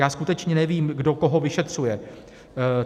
Já skutečně nevím, kdo koho vyšetřuje.